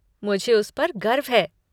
मुझे उस पर गर्व है।